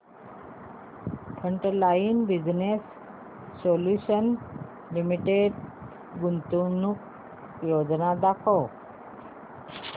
frontline business solutions limited गुंतवणूक योजना दाखव